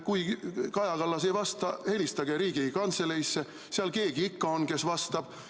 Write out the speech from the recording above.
Kui Kaja Kallas ei vasta, siis helistage Riigikantseleisse, seal keegi ikka on, kes vastab.